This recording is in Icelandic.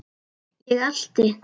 Ég elti.